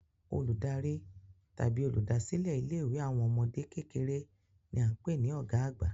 Olùdarí tàbí oluda silẹ ilé ìwé àwọn ọmọdé kékeré ni a n pé ni ọ̀gá àgbà